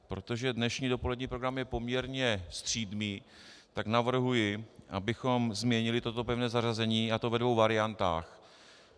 Protože dnešní dopolední program je poměrně střídmý, tak navrhuji, abychom změnili toto pevné zařazení, a to ve dvou variantách.